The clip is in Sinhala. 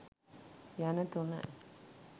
යන තුනයි.